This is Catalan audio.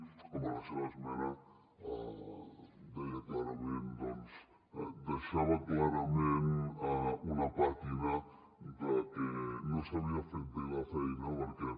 home la seva esmena deia clarament deixava clarament una pàtina de que no s’havia fet bé la feina perquè